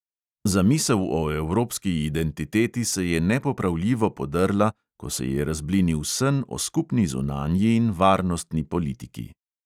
Zamisel o evropski identiteti se je nepopravljivo podrla, ko se je razblinil sen o skupni zunanji in varnostni politiki.